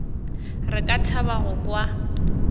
re ka thaba go kwa